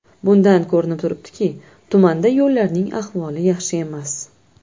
Bundan ko‘rinib turibdiki, tumanda yo‘llarning ahvoli yaxshi emas.